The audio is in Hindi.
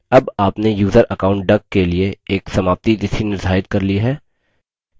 अब आपने यूज़र account duck के लिए एक समाप्ति तिथि निर्धारित कर ली है